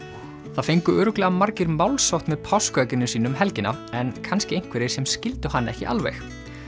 það fengu örugglega margir málshátt með páskaegginu sínu um helgina en kannski einhverjir sem skildu hann ekki alveg